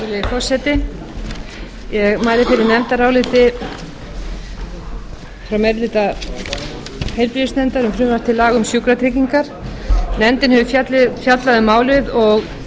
ég mæli fyrir nefndaráliti frá meiri hluta heilbrigðisnefndar um frumvarp til laga um sjúkratryggingar nefndin hefur fjallað um málið og fengið á sinn fund þá